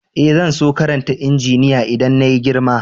Eh, zan so karanta injiniya idan na yi girma.